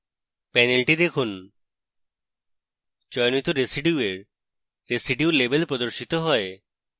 panel দেখুন চয়নিত residue এর residue label প্রদর্শিত হয়